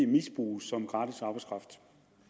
misbruges som gratis arbejdskraft